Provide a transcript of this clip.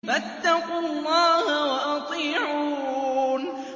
فَاتَّقُوا اللَّهَ وَأَطِيعُونِ